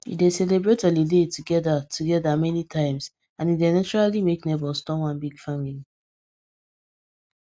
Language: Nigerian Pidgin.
we dey celebrate holiday together together many times and e dey naturally make neighbours turn one big family